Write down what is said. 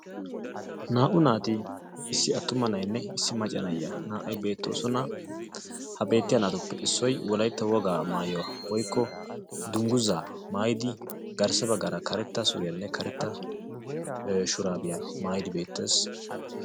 naa''u naati issi atumma nayinne issi macca nayiyaa beettosona, ha beettiya naatuppe issoy wolaytta wogaa maayuwa woykko dungguzza maayidi garssa baggaara karetta suriyanne karetta shurabiya maayidi beettees.